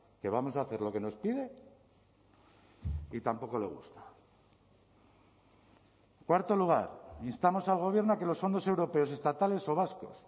que vamos a hacer lo que nos pide y tampoco le gusta cuarto lugar instamos al gobierno a que los fondos europeos estatales o vascos